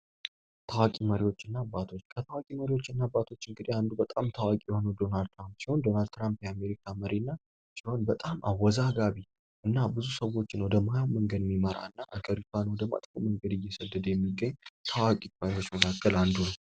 ታዋቂ መሪዎች እና አባቶች ከታዋቂ መሪዎች እንግዲህ አንዱ በጣም ታዋቂ የሆኑት ዶናልድ ትራምፕ ናቸው። ዶናልድ ትራምፕ የአሜሪካ መሪ ሲሆን በጣም አወዛጋቢ እና ብዙ ሰዎችን ወደ ማይሆን መንገድ የሚመራ እና ሀገሪቷንም ደግሞ በመጥፎ መንገድ እየሰደደ የሚገኝ ከታዋቂ መሪዎች መካከል አንዱ ነው።